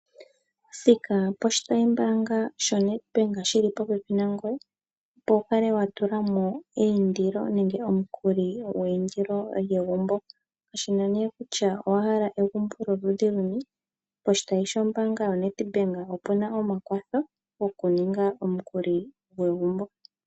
Thika poshitayimbaanga shoNED BANK shili popepi nangoye opo wu kale wa tula mo eindilo nenge omukuli gweyindilo. Kashina nee kutya owahala egumbo lyoludhi luni, poshitayi shombaanga yoNEDBANK opu na omakwatho goku ninga egumbo.